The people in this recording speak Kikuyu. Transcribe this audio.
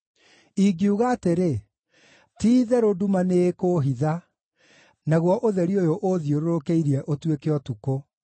Ingiuga atĩrĩ, “Ti-itherũ nduma nĩĩkũũhitha, naguo ũtheri ũyũ ũũthiũrũrũkĩirie ũtuĩke ũtukũ,”